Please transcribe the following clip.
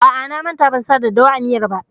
A'a, na manta ban sa daddawa a miyar ba.